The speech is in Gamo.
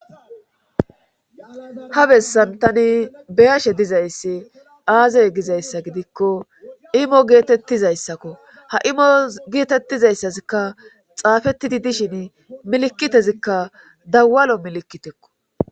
ha bessan tani be'ashe dizayssi aaze gizayssa gidikko imo geetettizayssakko ha imo geetettizayssazikka xaafetidi dishin milikitezikka dawalo milikitekko